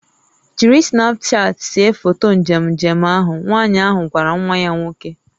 "Jiri Snapchat see foto njem njem ahụ" Nwanyị ahụ gwara nwa ya nwoke"